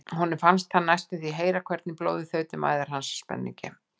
Honum fannst hann næstum því heyra hvernig blóðið þaut um æðar hans af spenningi.